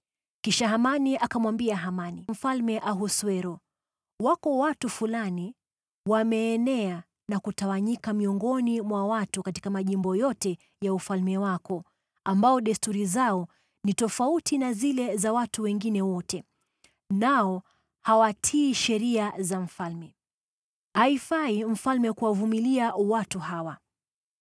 Kisha Hamani akamwambia Mfalme Ahasuero, “Wako watu fulani wameenea na kutawanyika miongoni mwa watu katika majimbo yote ya ufalme wako, ambao desturi zao ni tofauti na zile za watu wengine wote, nao hawatii sheria za mfalme. Haifai mfalme kuwavumilia watu hawa.